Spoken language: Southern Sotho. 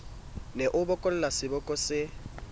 ne a bokolla seboko se